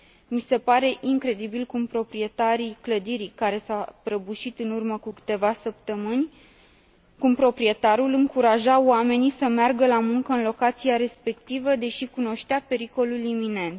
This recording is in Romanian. Mi se pare incredibil cum proprietarul clădirii care s a prăbușit în urmă cu câteva săptămâni încuraja oamenii să meargă la muncă în locația respectivă, deși cunoștea pericolul iminent.